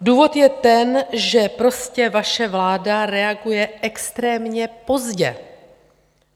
Důvod je ten, že prostě vaše vláda reaguje extrémně pozdě.